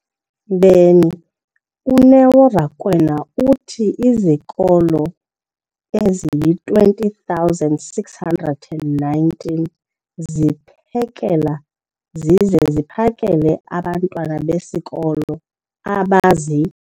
beni, uNeo Rakwena, uthi izikolo ezingama-20 619 ziphekela zize ziphakele abantwana besikolo abazi-